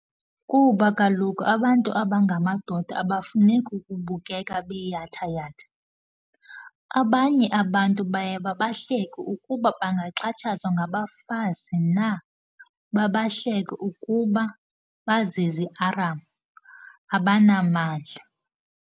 Kuba kaloku abantu abangamadoda abafuneki ukubukeka beyathayatha. Abanye abantu baye babahleke ukuba bangaxhatshazwa ngabafazi na, babahleke ukuba baziziaram, abanamandla.